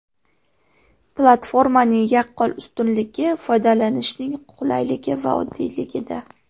Platformaning yaqqol ustunligi foydalanishning qulayligi va oddiyligida.